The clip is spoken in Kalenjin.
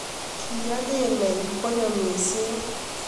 Kiya kemeny konyo mising